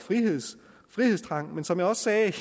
frihedstrang som jeg også sagde